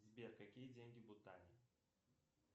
сбер какие деньги в бутане